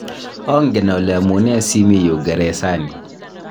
angen ale amunee si mii yu geresani